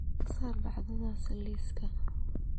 ka saar dhacdadaas liiska